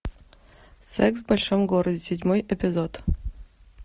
секс в большом городе седьмой эпизод